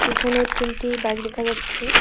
পিছনে তিনটি বাইক দেখা যাচ্ছে।